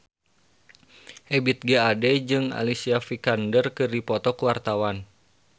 Ebith G. Ade jeung Alicia Vikander keur dipoto ku wartawan